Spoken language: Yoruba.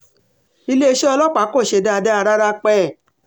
iléeṣẹ́ ọlọ́pàá kò ṣe dáadáa rárá pẹ́ẹ́